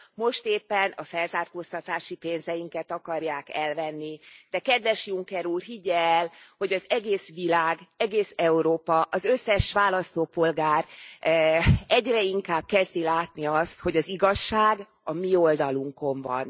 Most éppen a felzárkóztatási pénzeinket akarják elvenni, de kedves Juncker úr, higgye el, hogy az egész világ, egész Európa, az összes választópolgár egyre inkább kezdi látni azt, hogy az igazság a mi oldalunkon van.